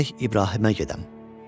"Gərək İbrahimə gedəm."